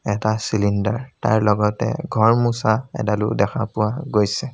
এটা চিলিনডাৰ তাৰ লগতে ঘৰ মুচা এডালো দেখা পোৱা গৈছে।